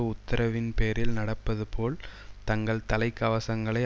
உத்தரவின் பேரில் நடப்பது போல் தங்கள் தலைக்கவசங்களை